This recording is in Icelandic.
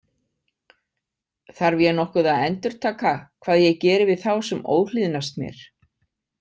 Þarf ég nokkuð að endurtaka hvað ég geri við þá sem óhlýðnast mér?